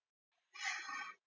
Hittu mig þá.